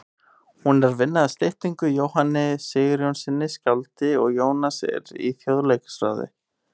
Hún er að vinna að styttu af Jóhanni Sigurjónssyni skáldi og Jónas er í Þjóðleikhúsráði.